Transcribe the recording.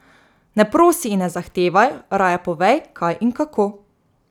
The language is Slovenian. Ne prosi in ne zahtevaj, raje povej, kaj in kako.